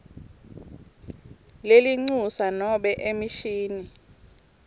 lelincusa nobe emishini